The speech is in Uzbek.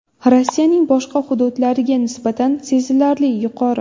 Rossiyaning boshqa hududlariga nisbatan sezilarli yuqori.